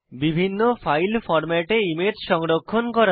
বিভিন্ন ফাইল ফরম্যাটে ইমেজ সংরক্ষণ করা